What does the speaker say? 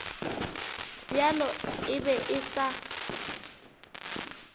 bjalo e be e sa